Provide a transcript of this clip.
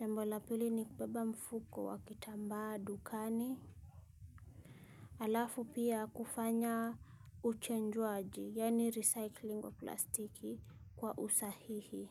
jambo la pili ni kubeba mfuko wa kitambaa dukani. Alafu pia kufanya uchenjuaji, yani recycling wa plastiki kwa usahihi.